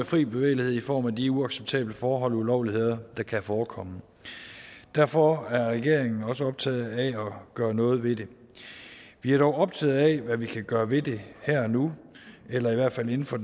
fri bevægelighed i form af de uacceptable forhold og ulovligheder der kan forekomme derfor er regeringen også optaget af at gøre noget ved det vi er dog optaget af hvad vi kan gøre ved det her og nu eller i hvert fald inden for